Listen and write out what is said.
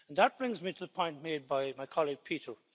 That brings me to the point made by my colleague, Peter.